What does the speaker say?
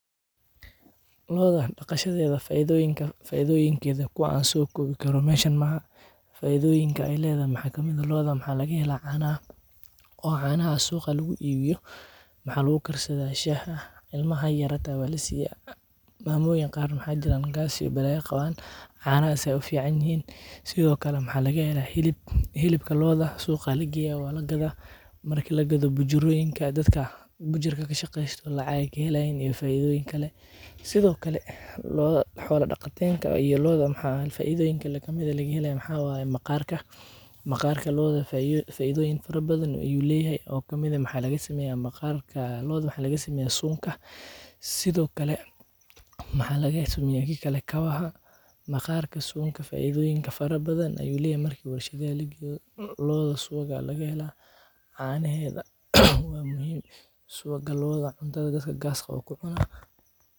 Looda daqashadeeda faidoyiinka, faidoyinkeeda ku an so kowi karo meshaan maaha, faidoyiinka ee ledahay maxaa kamiid ah loodha maxaa laga hela cana, oo canaha suuqa lagu ibiiyo, maxaa lagu karsadhaa shaha, ilmaha yar yar hata waa lasiyaa, mamoyin qaar waxaa jiran gaas iyo balaya qawan, canahas ayey u fican yihin, sithokale maxaa laga hela hlib, hilibka looda suuqa aya lageya waa lagadaa, marki lagadho bujuroyiinka hilibka kashaqeysto lacag ayey kahelayiin, iyo faidhoyin kalee, sithokale loodha iyo xola daqatenka looda maxaa faidoyiinka kale kamiid ah maqarka, maqarka loodha faidhoyin fara badan ayu leyahay, oo kamiid ah maqarka looda maxaa laga sameyaa sunka, sithokale maxaa laga sameyaa kawaha, maqarka Sunka faidhoyin fara badan ayu leyahay marki warshaada lageyo, looda suuwag aya laga hela canaheedha, waa muhiim suwaga looda cuntaada cuntadaa waxa gaska leh aya ku cunaa.